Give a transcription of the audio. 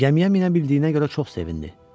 Gəmiyə minə bildiyinə görə çox sevindi.